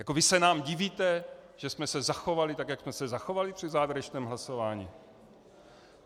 Jako vy se nám divíte, že jsme se zachovali tak, jak jsme se zachovali při závěrečném hlasování?